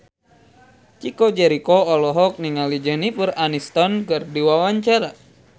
Chico Jericho olohok ningali Jennifer Aniston keur diwawancara